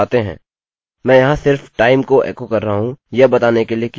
मैं यहाँ सिर्फ time को एको कर रहा हूँ यह बताने के लिए कि यह क्या करता है